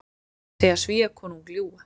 Segja Svíakonung ljúga